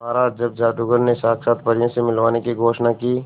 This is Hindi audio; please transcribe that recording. महाराज जब जादूगर ने साक्षात परियों से मिलवाने की घोषणा की